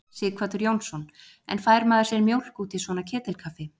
Sighvatur Jónsson: En fær maður sér mjólk út í svona ketilkaffi?